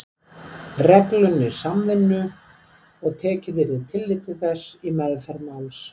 reglunni samvinnu og tekið yrði tillit til þess í meðferð máls